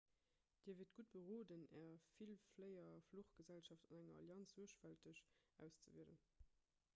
dir wiert gutt beroden är villfléierfluchgesellschaft an enger allianz suergfälteg auszewielen